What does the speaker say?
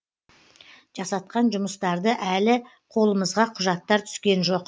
жасатқан жұмыстарды әлі қолымызға құжаттар түскен жоқ